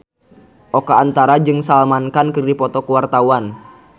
Oka Antara jeung Salman Khan keur dipoto ku wartawan